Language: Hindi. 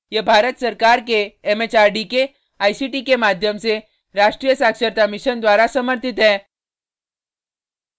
यह भारत सरकार के एमएचआरडी के आईसीटी के माध्यम से राष्ट्रीय साक्षरता mission द्वारा समर्थित है